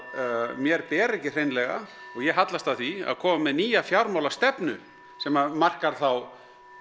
mér beri ekki hreinlega og ég hallast að því að koma með nýja fjármálastefnu sem markar þá